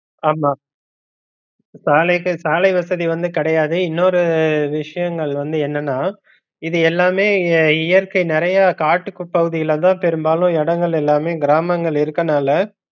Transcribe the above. ஆமா சாலைகள் சாலை வசதி வந்து கிடையாது இன்னொரு விஷயங்கள் வந்து என்னன்னா இது எல்லாமே இயற்கை நிறைய காட்டுப்பகுதியிலதா பெரும்பாலும் இடங்கள் எல்லாமே கிராமங்கள் இருக்கனால